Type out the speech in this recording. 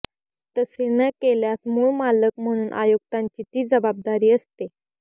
तसे न केल्यास मूळ मालक म्हणून आयुक्तांची ती जबाबदारी असते